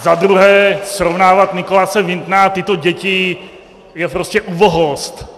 Za druhé, srovnávat Nicholase Wintona a tyto děti je prostě ubohost.